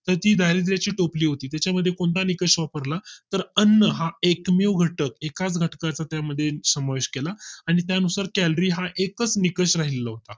तर ती दारिद्याची टोपली होती त्याच्या मध्ये कोणता निकष वापरला तर अन्न हा एकमेव घटक एका घटका चा त्या मध्ये समावेश केला आणि त्यानुसार calorie हा एकच निकष राहिला होता